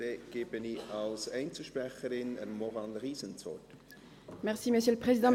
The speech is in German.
Dann erteile ich Maurane Riesen als Einzelsprecherin das Wort.